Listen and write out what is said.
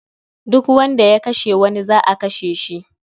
Duk wanda ya kashe wani za'a kashe shi